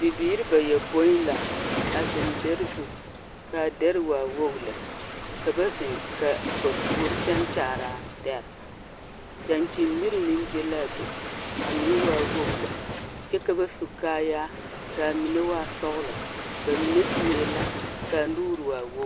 Bibiiri bayɔpoĩ la a zeŋ dɛre zu k’a dɛre waa wog lɛ. Ka ba zeŋ ka ba puor sɛŋ kyaar’a dɛre. Dankyin-miri meŋ be la a be a meŋ waa wog lɛ. Kyɛ ka ba su kaayaar kaa menɛ waa sɔglɔ, bamine sue la k’a nuur waa wogr.